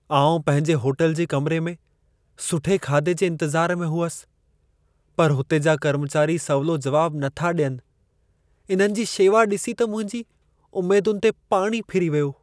आउं पंहिंजे होटल जे कमरे में सुठे खाधे जे इंतिज़ार में हुअसि, पर हुते जा कर्मचारी सवलो जवाब नथा ॾियनि। इन्हनि जी शेवा ॾिसी त मुंहिंजी उमेदुनि ते पाणी फिरी वियो।